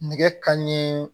Nɛgɛ kanɲɛ